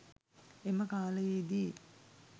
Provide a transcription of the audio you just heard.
එම කාලයේ දී